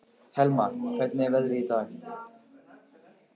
Helma, hvernig er veðrið í dag?